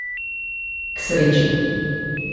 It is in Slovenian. K sreči.